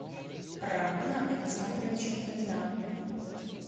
романа александровича фомина